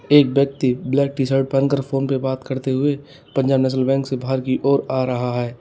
एक व्यक्ति black T shirt पहनकर फोन पर बात करते हुए पंजाब नेशनल बैंक से बाहर की ओर आ रहा है।